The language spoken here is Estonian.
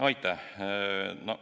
Aitäh!